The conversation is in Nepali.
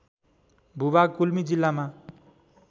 भूभाग गुल्मी जिल्लामा